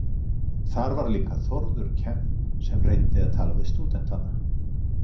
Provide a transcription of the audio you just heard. Þar var líka Þórður Kemp sem reyndi að tala við stúdentana.